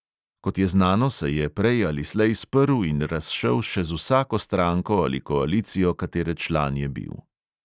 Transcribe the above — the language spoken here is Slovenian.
Kot je znano, se je prej ali slej sprl in razšel še z vsako stranko ali koalicijo, katere član je bil.